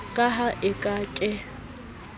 ka ha e ka ke